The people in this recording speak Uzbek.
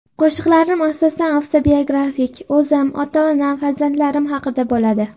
Qo‘shiqlarim asosan avtobiografik: o‘zim, ota-onam, farzandlarim haqida bo‘ladi.